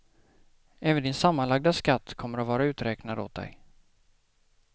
Även din sammanlagda skatt kommer att vara uträknad åt dig.